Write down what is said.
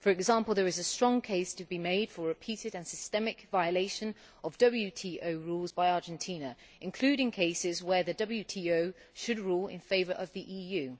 For example, there is a strong case to be made for repeated and systemic violation of WTO rules by Argentina, including cases where the WTO should rule in favour of the EU.